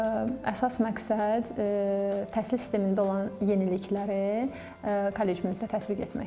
Əsas məqsəd təhsil sistemində olan yenilikləri kollecimizdə tətbiq etməkdir.